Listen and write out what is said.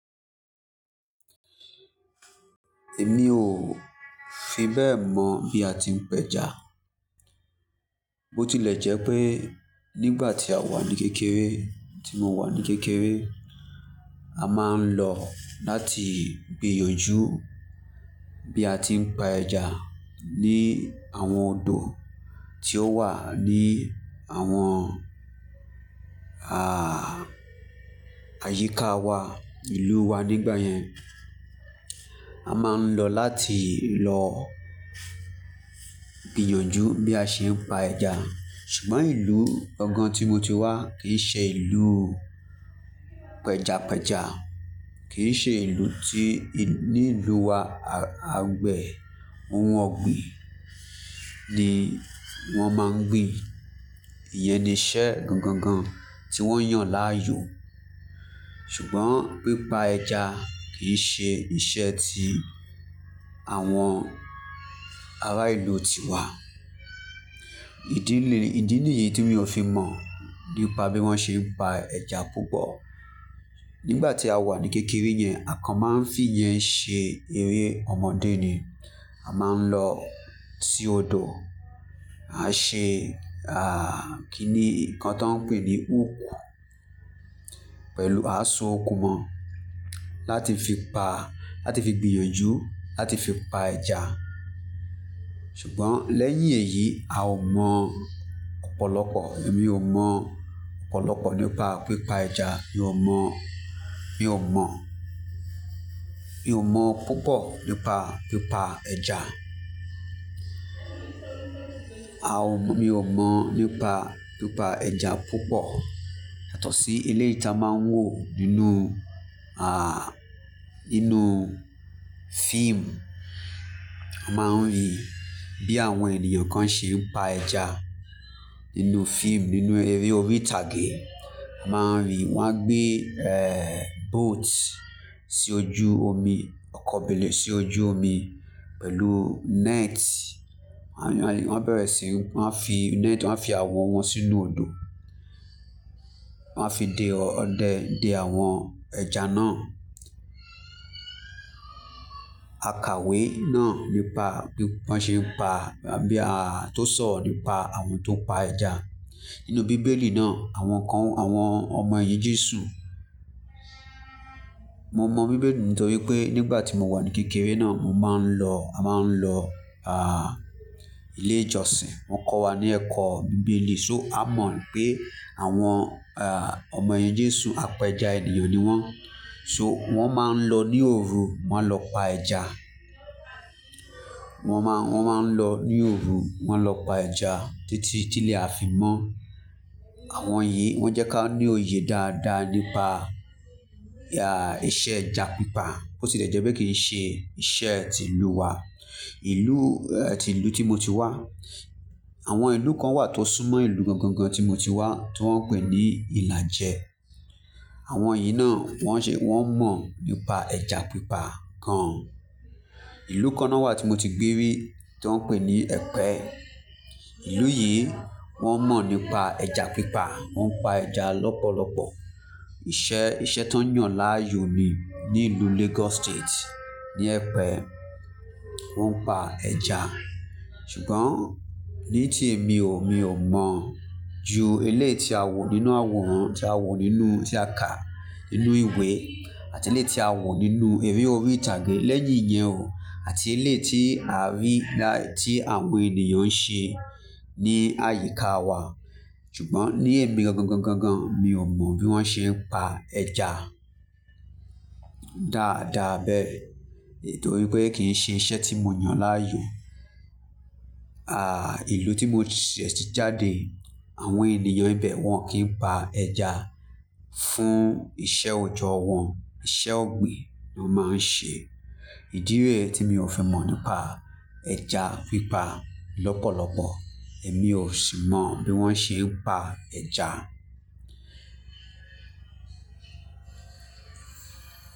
Èmi ò fi bẹ́ẹ̀ mọ̀ bí a ti ń pẹja. Bo tilẹ̀ jẹ́ pé nígbà tí a wà ní kékeré, tí mo wà ní kékeré, a máa ń lọ láti gbìyànjú bí a ti ń pa ẹja ní àwọn odò tí ó wà ní àwọn, àh, àyíká wa, ìlú wa nígbà yẹn. A máa ń lọ láti lọ gbìyànjú bí a ṣe ń pa ẹja. Ṣùgbọ́n ìlú gangàn tí mo ti wá kì í ṣe ìlú pẹjapẹja. Kì í ṣe ìlú tí, ní ìlú wa agbẹ̀ ohun ọ̀gbìn ni wọ́n máa ń gbin. Iyẹn ni iṣẹ́ gangan tí wọ́n yàn láàyò. Ṣùgbọ́n pípa ẹja kì í ṣe iṣẹ́ tí àwọn ará ìlú ti wá. Ìdí lé, ìdí nìyí tí mi ò fi mọ̀ nípa bí wọ́n ṣe ń pa ẹja púpọ̀. Nígbà tí a wà ní kékeré yẹn, à kan máa ń fìyẹn ṣe eré ọmọdé ni. A máa ń lọ sí odò, a ṣe, àh, kí ni? Ǹnkan tí wọ́n ń pè ní úkù pẹ̀lú. A sọ okùn mọ́ láti fi pa, láti fi gbìyànjú, láti fi pa ẹja. Ṣùgbọ́n lẹ́yìn èyí, a ò mọ̀ ọ̀pọ̀lọpọ̀. Èmi ò mọ̀ ọ̀pọ̀lọpọ̀ nípa pípa ẹja. Mi ò mọ̀, mi ò mọ̀, mi ò mọ̀ púpọ̀ nípa pípa ẹja. A ò mọ̀, mi ò mọ̀ nípa pípa ẹja púpọ̀. Yatọ̀sí eléyii ti a máa ń wò nínú, àh, nínú fíìmù. A máa ń rí bí àwọn ènìyàn kan ṣe ń pa ẹja nínú fíìmù, nínú eré orí ìtàgé. A máa ń rí wọn a gbé, ẹ́, boat sí ojú omi, ọkọ̀ bẹ́ẹ̀lé, sí ojú omi pẹ̀lú net. Wọ́n á bẹ̀rẹ̀ sí, wọ́n á fi net, wọ́n á fi àwọ̀ wọn sínú odò. Wọ́n á fi de ọdẹ, de àwọn ẹja náà. Àkàwé náà nípa bí wọ́n ṣe ń pa, bí a, tó sọ̀rọ̀ nípa àwọn tó ń pa ẹja nínú bíbélì náà, àwọn kan, àwọn ọmọ ẹyin Jésù. Mo mọ̀ bíbélì nítorí pé nígbà tí mo wà ní kékeré náà, mo máa ń lọ, a máa ń lọ, àh, ilé ìjọsìn. Wọ́n kọ́ wa ní ẹ̀kọ́ bíbélì. So a mọ̀ pé àwọn, àh, ọmọ ẹyin Jésù apẹja ènìyàn ni wọ́n. So wọ́n máa ń lọ ní òru, wọ́n lọ pa ẹja. Wọ́n máa, wọ́n máa ń lọ ní òru, wọ́n lọ pa ẹja títí tílé a fi mọ́ àwọn yìí wọ́n jẹ́ ká ní òye dáadáa nípa, ya, ìṣe ẹja pípa. Bo ti le jẹ́ pé kì í ṣe iṣẹ́ tí ìlú wa. Ìlú, ẹ́, tí ìlú tí mo ti wá. Àwọn ìlú kan wà tó súnmọ́ ìlú gangan tí mo ti wá tí wọ́n ń pè ní Ìlàjẹ. Àwọn yìí náà wọ́n ṣe, wọ́n mọ̀ nípa ẹja pípa gan. Ìlú kan náà wà tí mo ti gbé rí tí wọ́n ń pè ní Ẹ̀pẹ́. Ìlú yìí wọ́n mọ̀ nípa ẹja pípa. Wọ́n ń pa ẹja lọ́pọ̀lọpọ̀. Iṣẹ́, iṣẹ́ tó ń yàn láàyò ni ní ìlú Lagos State, ní Ẹ̀pẹ́. Wọ́n ń pa ẹja. Ṣùgbọ́n ní tí èmi ò, mi ò mọ̀ ju eleyii ti a wò nínú àwòrán tí a wò nínú, tí a kà nínú ìwé àti eléyii ti a wò nínú eré orí ìtàgé lẹ́yìn ìyẹn o àti eléyii ti a rí lá, tí àwọn ènìyàn ń ṣe ní àyíká wa. Ṣùgbọ́n ní èmi gangan, gangan, mi ò mọ̀ bí wọ́n ṣe ń pa ẹja dáadáa bẹ́ẹ̀. Nitori pé kì í ṣe iṣẹ́ tí mo yàn láàyò. Àh, ìlú tí mo ti ṣẹ́, ti jáde àwọn ènìyàn ibẹ̀ wọ́n kì í pa ẹja fún ìṣe òjọ́ wọn. Ìṣe ọ̀gbìn ni wọ́n máa ń ṣe. Ìdí rẹ̀ tí mi ò fi mọ̀ nípa ẹja pípa lọ́pọ̀lọpọ̀. Èmi ò sì mọ̀ bí wọ́n ṣe ń pa ẹja.